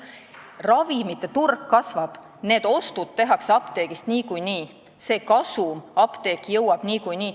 Ravimite turg kasvab, seega ostud tehakse apteegist niikuinii ja kasum jõuab apteeki niikuinii.